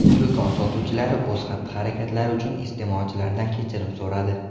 Do‘kon sotuvchilari o‘z xatti-harakatlari uchun iste’molchilardan kechirim so‘radi.